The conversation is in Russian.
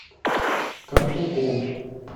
картуков